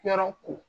Yɔrɔ ko